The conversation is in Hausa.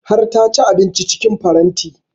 Har ta ci abinci cikin faranti